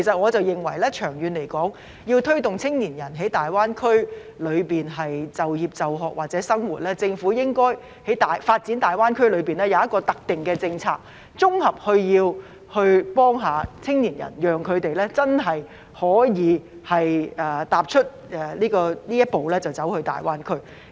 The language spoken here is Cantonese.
我認為長遠而言，要推動青年人前往大灣區就業、就學或生活，政府發展大灣區時，應該制訂一項特定的政策，綜合幫助青年人，讓他們能真正踏出一步前往大灣區。